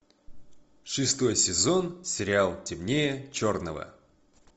шестой сезон сериал темнее черного